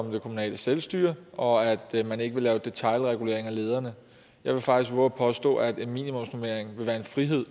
det kommunale selvstyre og at man ikke vil lave detailregulering af lederne jeg vil faktisk vove at påstå at en minimumsnormering vil være en frihed